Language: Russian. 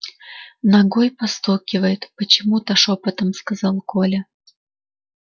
ногой постукивает почему то шёпотом сказал коля